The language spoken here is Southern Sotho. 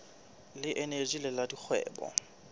le eneji le la dikgwebo